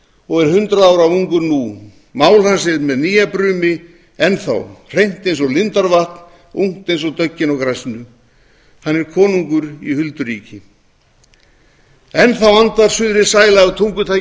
og er hundrað ára ungur nú mál hans er með nýjabrumi enn þá hreint eins og lindarvatn ungt eins og döggin á grasinu hann er konungur í hulduríki enn þá andar suðrið sæla af tungutaki